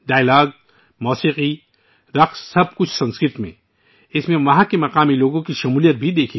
مکالمے، موسیقی، رقص، سب کچھ سنسکرت میں، جس میں مقامی لوگوں نے بھی شرکت کی